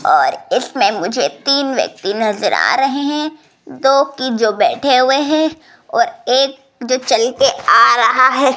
और इसमें मुझे तीन व्यक्ति नजर आ रहे हैं दो कि जो बैठे हुए हैं और एक जो चलके आ रहा है।